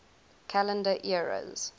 calendar eras